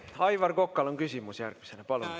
Aivar Kokal on küsimus, palun!